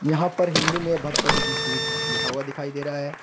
यहां पर हिंदी में भगपति जी स्वीट लिखा हुआ दिखाई दे रहा है।